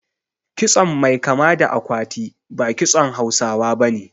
Kitson mai kama da akwati ba kitson Hausawa bane